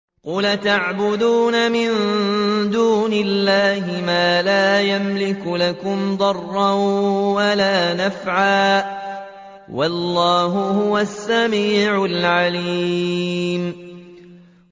قُلْ أَتَعْبُدُونَ مِن دُونِ اللَّهِ مَا لَا يَمْلِكُ لَكُمْ ضَرًّا وَلَا نَفْعًا ۚ وَاللَّهُ هُوَ السَّمِيعُ الْعَلِيمُ